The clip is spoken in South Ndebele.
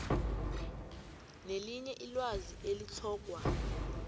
nelinye ilwazi elitlhogwa